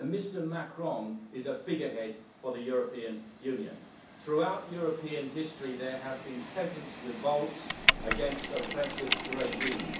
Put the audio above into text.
Mr Macron is a figurehead for the European Union. Throughout European history, there have been peasants' revolts against oppressive regimes.